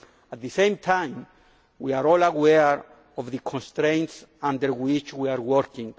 At the same time we are all aware of the constraints under which we are working.